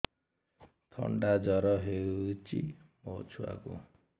ଥଣ୍ଡା ଜର ହେଇଚି ମୋ ଛୁଆକୁ